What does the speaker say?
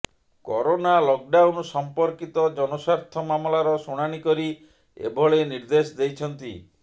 corona lockdown ସମ୍ପର୍କିତ ଜନସ୍ୱାର୍ଥ ମାମଲାର ଶୁଣାଣି କରି ଏଭଳି ନିର୍ଦ୍ଦେଶ ଦେଇଛନ୍ତି